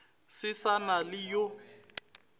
se sa na le yo